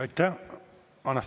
Aitäh!